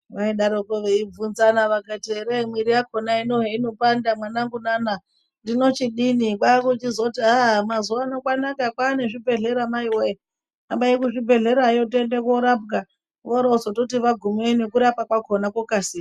Vaidarikwo veibvunzana vakati ere miri yakhona hino heinopanda mwanangu nana ndinochidini kwakuchizoti aaa mazuano kwanaka kwaane zvibhedhlera maiwe hambai kuzvibhedhlerayo tiende korapwa vorozototi vagumeyo kurapwa kwakona kwokasira.